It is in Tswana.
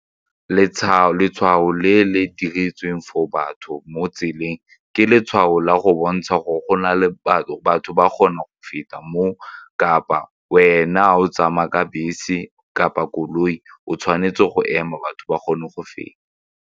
Letshwao le le diretsweng for batho mo tseleng ke letshwao la go bontsha gore go na le batho batho ba kgone go feta moo kapa wena o tsamaya ka bese kapa koloi o tshwanetse go ema batho ba kgone go feta.